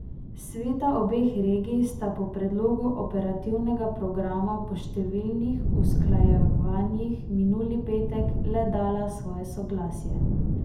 Sveta obeh regij sta predlogu operativnega programa po številnih usklajevanjih minuli petek le dala svoje soglasje.